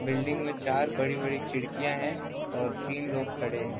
Building में चार बड़ी-बड़ी खिड़कियाँ हैं और तीन लोग खड़े हैं |.